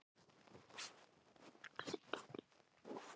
Hún var svo góð kona